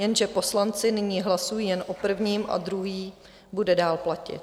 Jenže poslanci nyní hlasují jen o prvním a druhý bude dál platit.